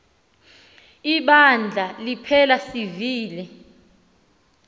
ibandla liphela sivile